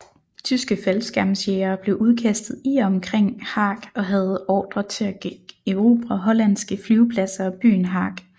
Tyske faldskærmsjægere blev udkastet i og omkring Haag og havde ordre til at erobre hollandske flyvepladser og byen Haag